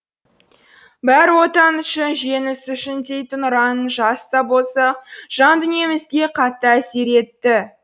бәрі отан үшін жеңіс үшін дейтін ұран жас та болсақ жан дүниемізге қатты әсер етті